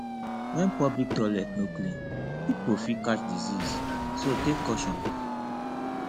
when public toilet no clean pipo fit catch disease so take caution